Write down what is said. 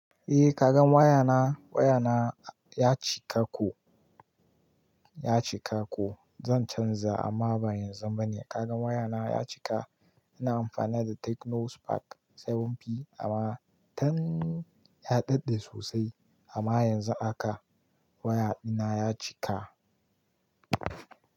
Eh ka gan waya na, waya na ya cika ko, ya cika ko. Zan canza amma ba yanzu bane. Ka gan waya na ya cika. Ina amfani da Tecno Spark 7 amma tun ya daɗe sosai amma yanzu a haka waya dina ya cika.